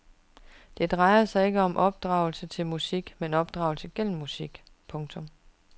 Det drejer sig ikke om opdragelse til musik men opdragelse gennem musik. punktum